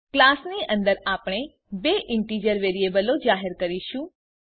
ક્લાસની અંદર આપણે બે ઈન્ટીજર વેરીએબલો જાહેર કરીશું